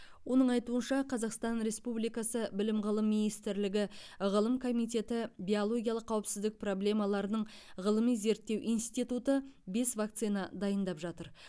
оның айтуынша қазақстан республикасы білім ғылым министрлігі ғылым комитеті биологиялық қауіпсіздік проблемаларының ғылыми зерттеу институты бес вакцина дайындап жатыр